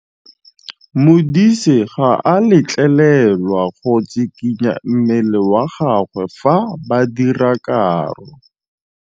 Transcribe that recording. Modise ga a letlelelwa go tshikinya mmele wa gagwe fa ba dira karô.